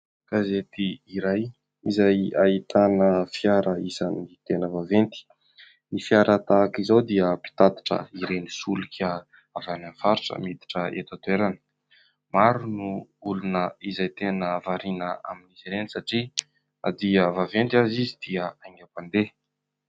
Gazety iray izay ahitana fiara isan'ny tena vaventy, ny fiara tahaka izao dia mpitatitra ireny solika avy any amin'ny faritra miditra eto an-toerana, maro no olona izay tena variana amin'ny izy ireny satria dia vaventy azy izy dia haingam-pandeha.